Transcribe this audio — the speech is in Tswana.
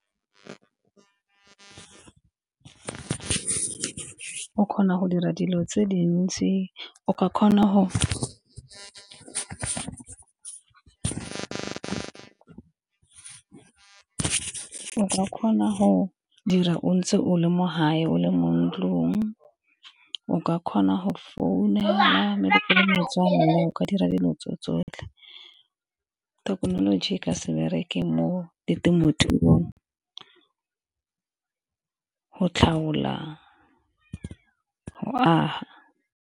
O kgona go dira dilo tse dintsi o ka kgona go dira o ntse o le mo gae, o le mo ntlong, o ka kgona go founa , o ka dira dilo tso tsotlhe. Thekenoloji ka se bereke mo ditemothuong go tlhaola .